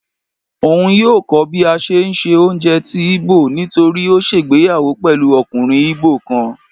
òun yóò kó bí a n ṣe sé oúnjẹ tí Igbo, nitoripe o ṣègbéyàwó pẹlú okùnrin Igbo kan.